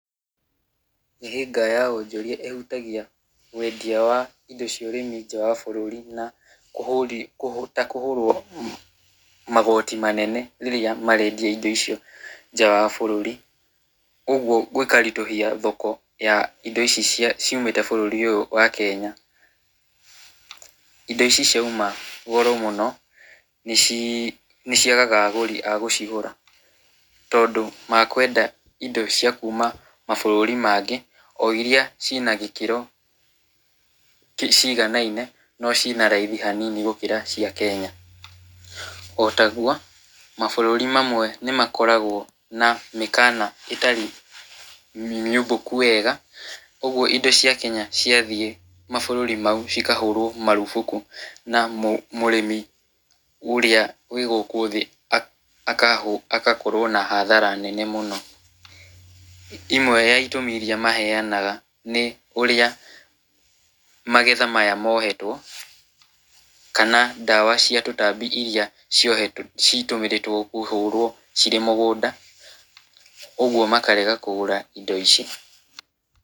Mĩhĩnga ya wonjoria ĩhutagia wendia wa indo cia ũrĩmi nja wa bũrũri na kũhũrwo magoti manene rĩrĩa marendia indo icio nja wa bũrũri, ũgwo gũkaritũhia thoko ya indo ici ciumĩte bũrũri ũyũ wa kenya , indo ici ciauma goro mũno, nĩciagaga agũri agũcigũra, tondũ makwenda indo makuma mabũrũri mangĩ , o iria cina gĩkĩro ciigananie no cina raithi hanini gũkĩra cia kenya, otagwo mabũrũri mamwe nĩmakoragwo na mĩkana itarĩ mĩumbũku wega ũgwo indo cia kenya cia thiĩ mabũrũri mau cikahũrwo marũbũkũ na mũrĩmi ũrĩa wĩ gũkũ thĩ aka agakorwo na hathara nene mũno, imwe ya itũmi iria maheanaga nĩ ũrĩa magetha maya mohetwo, kana ndawa cia tũtambi iria ciohetwo , citũmĩrĩtwo kũhũrwo cirĩ mũgũnda, ũgwo makarega kũgũra indo ici.